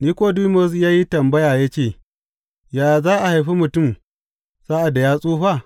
Nikodimus ya yi tambaya ya ce, Yaya za a haifi mutum sa’ad da ya tsufa?